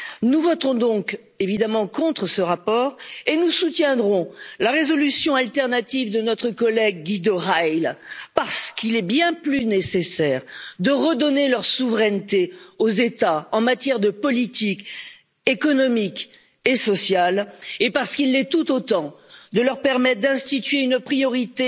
Nous voterons donc, évidemment, contre ce rapport et nous soutiendrons la résolution alternative de notre collègue Guido Reil parce qu'il est bien plus nécessaire de redonner leur souveraineté aux États en matière de politique économique et sociale, et parce qu'il l'est tout autant de leur permettre d'instituer une priorité